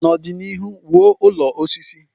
N'ọdịnihu, wuo ụlọ osisi.